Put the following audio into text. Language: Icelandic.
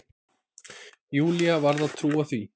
Júlía varð að trúa því.